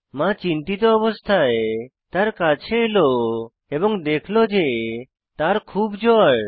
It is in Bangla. মা চিন্তিত অবস্থায় তার কাছে এলো এবং দেখল যে তার খুব জ্বর